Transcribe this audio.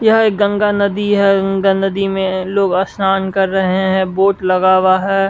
यह गंगा नदी है गंगा नदी में लोग स्नान कर रहे हैं वोट लगा हुआ है।